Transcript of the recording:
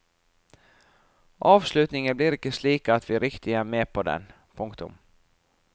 Avslutningen blir ikke slik at vi riktig er med på den. punktum